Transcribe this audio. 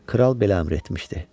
Kral belə əmr etmişdi.